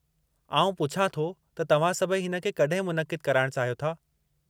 आउं पुछां थो त तव्हां सभई हिन खे कॾहिं मुनक़िदु कराइणु चाहियो था?